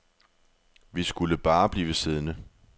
Vi skulle bare blive siddende.